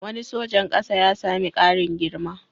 Wani sojan ƙasa ya sami ƙarin girma.